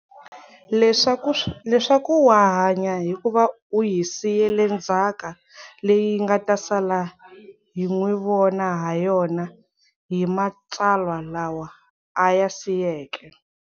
Leswaku wa hanya hikuva u hi siyele ndzhaka leyi hi nga ta sala hi n'wi vona ha yona hi matsalwa lawa a ya siyeke.